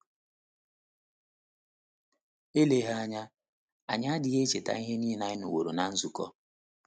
Eleghị anya, anyị adịghị echeta ihe nile anyị nụworo ná nzukọ.